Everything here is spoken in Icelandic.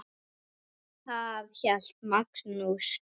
Þar hélt Magnús Torfi